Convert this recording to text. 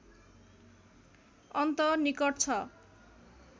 अन्त निकट छ